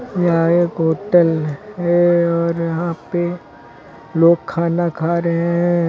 यह एक होटल है और यहां पे लोग खाना खा रहे हैं।